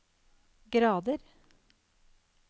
grader